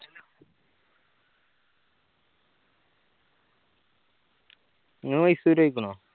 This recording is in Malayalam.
നീ മൈസൂർ പോയിക്കിണോ